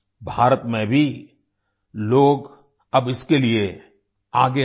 भारत में भी लोग अब इसके लिए आगे आ रहे हैं